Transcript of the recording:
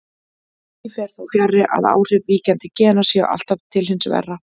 Því fer þó fjarri að áhrif víkjandi gena séu alltaf til hins verra.